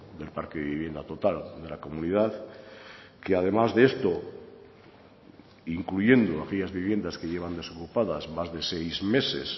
del parque de vivienda total de la comunidad que además de esto incluyendo aquellas viviendas que llevan desocupadas más de seis meses